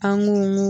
An b'u